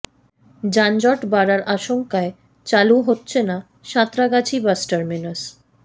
যানজট বাড়ার আশঙ্কায় চালু হচ্ছে না সাঁতরাগাছি বাস টার্মিনাস